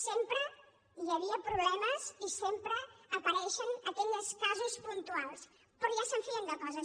sempre hi havia problemes i sempre apareixen aquells casos puntuals però ja se’n feien de coses